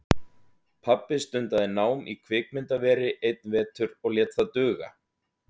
Pabbi stundaði nám í kvikmyndaveri einn vetur og lét það duga.